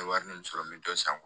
N ye wari min sɔrɔ n bɛ dɔ san